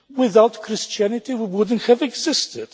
Without Christianity, we would not have existed.